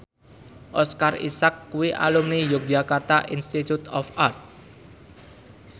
Oscar Isaac kuwi alumni Yogyakarta Institute of Art